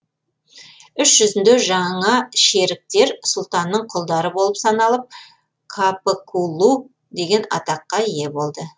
үш жүзінде жаңа шеріктер сұлтанның құлдары болып саналып капыкулу деген атаққа ие болды